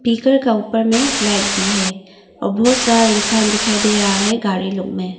Speaker का ऊपर में लाइट भी है और बहुत सारा इंसान दिखाई दे रहा है गाड़ी लोग में।